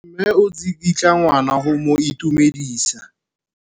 Mme o tsikitla ngwana go mo itumedisa.